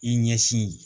I ɲɛsin